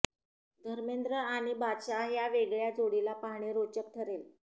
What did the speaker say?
धर्मेन्द्र आणि बादशाह ह्या वेगळ्या जोडीला पाहणे रोचक ठरेल